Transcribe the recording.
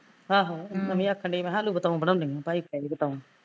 ਆਹੋ ਮੈਂ ਵੀ ਆਖਣ ਡਈ ਸੀ ਮੈਂ ਕਿਹਾਂ ਆਲੂ ਬਤਾਉ ਬਣਾਉਂਦੀ ਆ ਭਾਈ ਤੋਂ ਲੈ ਕੇ ਬਤਾਉ